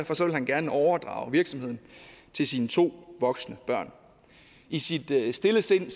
han gerne overdrage virksomheden til sine to voksne børn i sit stille sind